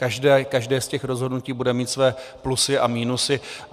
Každé z těch rozhodnutí bude mít své plusy a minusy.